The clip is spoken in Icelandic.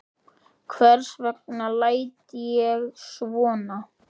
Hvers vegna læt ég svona?